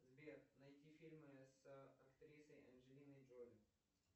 сбер найди фильмы с актрисой анджелиной джоли